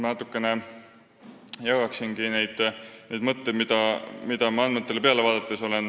Ma natuke jagangi neid mõtteid, mida ma olen leidnud andmetele peale vaadates.